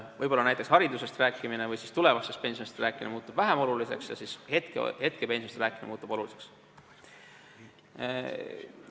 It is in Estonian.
Võib-olla näiteks haridusest rääkimine või tulevasest pensionist rääkimine muutub vähem oluliseks ja hetkepensionist rääkimine muutub rohkem oluliseks.